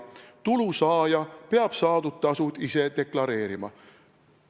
Tulu saaja peab saadud tasud ise deklareerima.